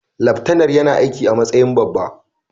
Laftanar yana aiki a matsayin babba.